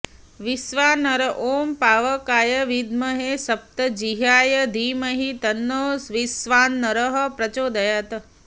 वैश्वानर ॐ पावकाय विद्महे सप्तजिह्वाय धीमहि तन्नो वैश्वानरः प्रचोदयात्